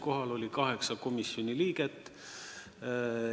Kohal oli kaheksa komisjoni liiget.